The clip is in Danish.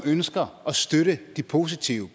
ønsker at støtte de positive